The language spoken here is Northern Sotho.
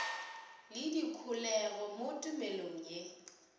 le dikholego mo tumelong ye